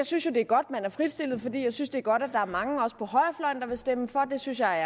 synes jo det er godt at man har fritstillet dem for jeg synes det er godt at der er mange også på højrefløjen der vil stemme for det synes jeg er